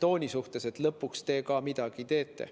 tooni pärast, et lõpuks te ka midagi teete.